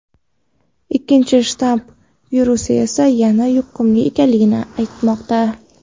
ikkinchi shtamm virusi esa yanada yuqumli ekanligi aytilmoqda.